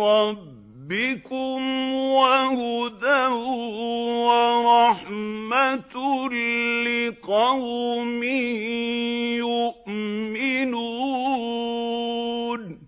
رَّبِّكُمْ وَهُدًى وَرَحْمَةٌ لِّقَوْمٍ يُؤْمِنُونَ